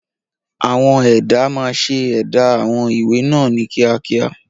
Àwọn ẹ̀dà máa ń ṣe ẹ̀dà àwọn ìwé náà ní kíákíá.